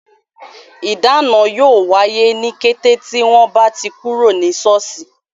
Ìdáná yóò wáyé, ní kété tí wọ́n bá ti kúrò ní soosi